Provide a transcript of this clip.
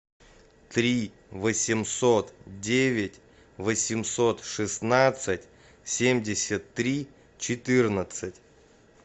три восемьсот девять восемьсот шестнадцать семьдесят три четырнадцать